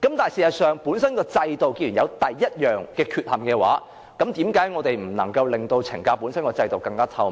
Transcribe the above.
但事實上，既然制度本身有第一種缺陷，為何我們不能令懲教本身的制度更透明？